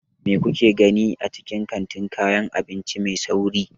Me kuke gani a cikin kantin kayan abinci mai sauri?